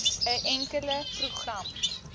n enkele program